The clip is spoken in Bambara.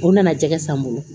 O nana jɛgɛ san n bolo